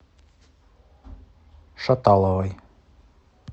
шаталовой